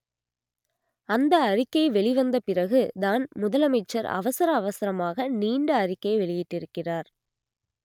அந்த அறிக்கை வெளிவந்த பிறகு தான் முதலமைச்சர் அவசர அவசரமாக நீண்ட அறிக்கை வெளியிட்டிருக்கிறார்